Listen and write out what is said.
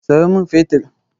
Sayo min fetir!